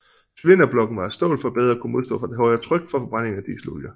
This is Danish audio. Cylinderblokken var af stål for bedre at kunne modstå det højere tryk fra forbrændingen af dieselolie